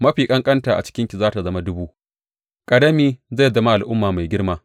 Mafi ƙanƙanta a cikinki za tă zama dubu, ƙarami zai zama al’umma mai girma.